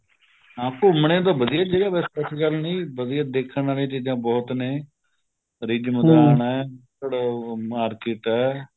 ਹਾਂ ਘੁੱਮਣੇ ਨੂੰ ਤਾਂ ਵਧੀਆ ਜਗ੍ਹਾ ਵੈਸੇ ਏਸੀ ਗੱਲ ਨਹੀਂ ਵਧੀਆ ਦੇਖਣ ਵਾਲੀਆ ਚੀਜਾ ਬਹੁਤ ਨੇ ਤੁਹਾਡੇ ਮਾਰਕੇਟ ਏ